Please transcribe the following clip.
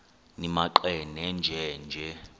nimaqe nenje nje